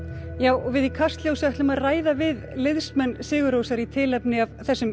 og við í Kastljósi ætlum að ræða við liðsmenn sigur Rósar í tilefni af þessum